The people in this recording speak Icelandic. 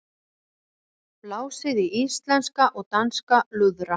Blásið í íslenska og danska lúðra